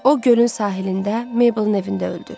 O gölün sahilində Mabelin evində öldü.